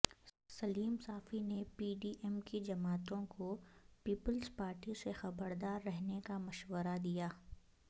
سلیم Safi P D M ایم کی جماعتوں کو پیپلزپارٹی سے خبردار رہنےکا مشورہ دیا